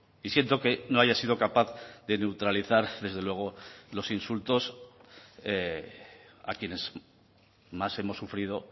y siento que no haya sido capaz de neutralizar desde luego los insultos a quienes más hemos sufrido